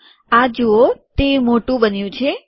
આ જુઓ તે મોટું બન્યું છે